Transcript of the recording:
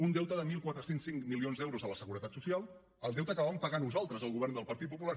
un deute de catorze zero cinc milions d’euros a la seguretat social el deute que vam pagar nosaltres el govern del partit popular